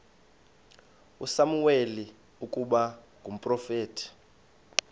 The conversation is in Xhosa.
usamuweli ukuba ngumprofeti